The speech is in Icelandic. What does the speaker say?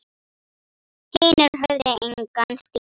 Hinir höfðu engan stíl.